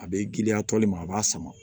A bɛ girinya tɔ min ma a b'a sama